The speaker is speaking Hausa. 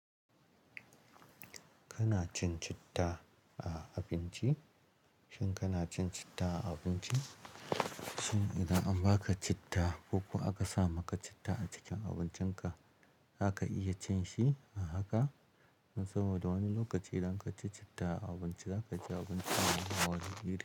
Kana cin citta a abinci? Shin kana cin citta a abinci? Shin idan an baka citta ko kuwa aka sa maka citta a cikin abincinka, zaka iya cin shi a haka? Saboda wani lokaci idan ka ci citta a abinci, zaka ji abincin yana wani iri.